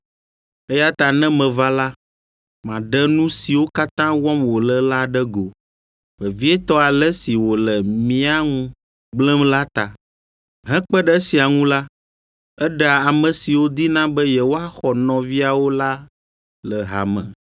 Eya ta ne meva la, maɖe nu siwo katã wɔm wòle la ɖe go, vevietɔ ale si wòle mía ŋu gblẽm la ta. Hekpe ɖe esia ŋu la, eɖea ame siwo dina be yewoaxɔ nɔviawo la le hame.